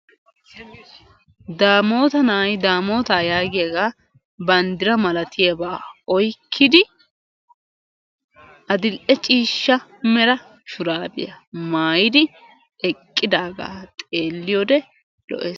daamota na'ay daamootaa yaagiyaaga banddira malatiyaga oyqidi adil'e ciishsha mala shuraabiya maayidi eqidaagaa xeeliyode lees.